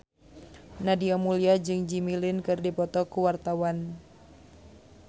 Nadia Mulya jeung Jimmy Lin keur dipoto ku wartawan